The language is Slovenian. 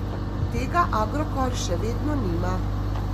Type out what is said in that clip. Tega Agrokor še vedno nima.